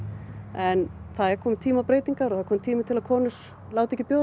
en það er kominn tími á breytingar og kominn tími til að konur láti ekki bjóða